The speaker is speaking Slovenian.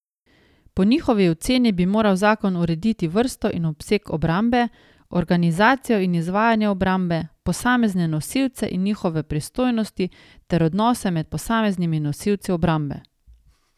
Po njihovi oceni bi moral zakon urediti vrsto in obseg obrambe, organizacijo in izvajanje obrambe, posamezne nosilce in njihove pristojnosti ter odnose med posameznimi nosilci obrambe.